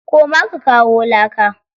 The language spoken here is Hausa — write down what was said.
Koma ka kawo laka.